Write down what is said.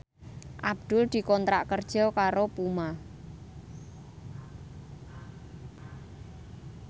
Abdul dikontrak kerja karo Puma